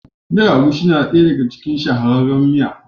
Miyan Agushi na ɗaya ɗaga cikin shahararrun miya.